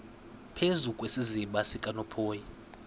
phezu kwesiziba sikanophoyi